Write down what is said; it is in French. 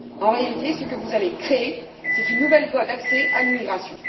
En réalité, ce que vous allez créer, c'est une nouvelle voie d'accès à l'immigration.